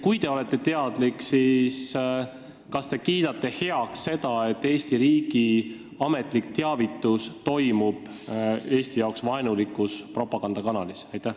Kui te olete teadlik, siis kas te kiidate heaks selle, et Eesti riigi ametlik teavitus toimub Eesti vastu vaenulikus propagandakanalis?